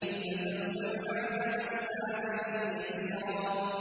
فَسَوْفَ يُحَاسَبُ حِسَابًا يَسِيرًا